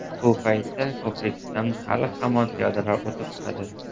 Bu paytda ko‘prikdan hali-hamon piyodalar o‘tib turadi.